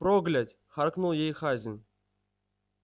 проглядь харкнул ей хазин